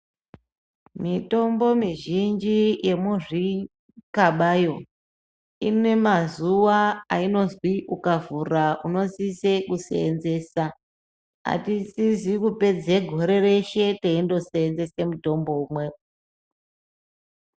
Mitombo mi zhinji ye muzvi kabayo ine mazuva ayinozi ukavhura uno sise ku senzesa atisisi kupedze gore reshe teindo senzese mutombo umwe.